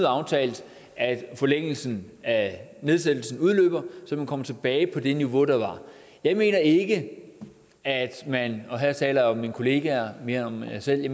aftalt at forlængelsen af nedsættelsen udløber så man kommer tilbage på det niveau der var jeg mener ikke at man og her taler jeg om mine kollegaer mere end om mig selv